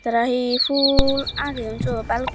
tara he ful ageyoun seyot baluk.